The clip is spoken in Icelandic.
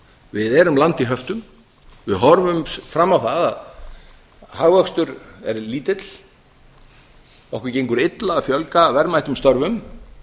við erum land í höftum við horfum fram á það að hagvöxtur er lítill okkur gengur illa að fjölga verðmætum störfum